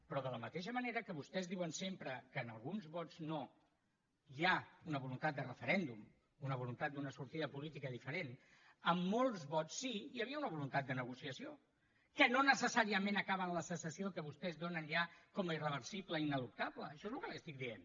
però de la mateixa manera que vostès diuen sempre que en alguns vots no hi ha una voluntat de referèndum una voluntat d’una sortida política diferent en molts vots sí que hi havia una voluntat de negociació que no necessàriament acaba en la secessió que vostès donen ja com a irreversible i ineluctable això és el que li estic dient